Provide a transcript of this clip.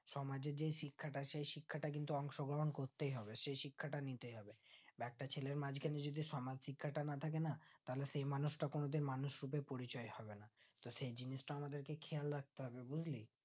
সমাজের যেই শিক্ষাটা সেই শিক্ষাটা কিন্তু অংশগ্রহণ করতেই হবে সেই শিক্ষা তা নিতে হবে বা একটা ছেলের মাজখানে যদি সমাজ শিক্ষাটা না থাকে না তাহলে সেই মানুষটা কোনোদিন মানুষ রূপে পরিচয় হবে না তো সেই জিনিসটা আমাদ্রকে খেয়াল রাখতে হবে বুজলি